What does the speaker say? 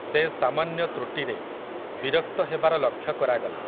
ସେ ସାମାନ୍ୟ ତୃଟିରେ, ବିରକ୍ତ ହେବାର ଲକ୍ଷ୍ୟ କରାଗଲା ।